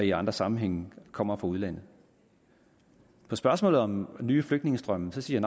i andre sammenhænge kommer fra udlandet på spørgsmålet om nye flygtningestrømme siger